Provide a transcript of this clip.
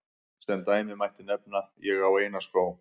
Sem dæmi mætti nefna: Ég á eina skó.